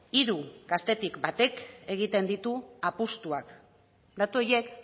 hiru gaztetik batek egiten ditu apustuak datu horiek